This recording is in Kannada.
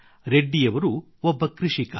ರೆಡ್ಡಿಯವರು ಒಬ್ಬ ಕೃಷಿಕ